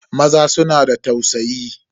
Maza suna da tausayi.